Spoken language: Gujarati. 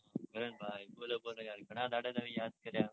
. કરણ ભાઈ બોલો બોલો ગણા દહાડે તમે યાદ કર્યા.